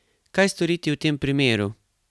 Kaj storiti v tem primeru?